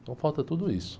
Então, falta tudo isso.